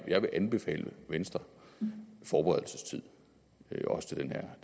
jeg vil anbefale venstre forberedelsestid også til den her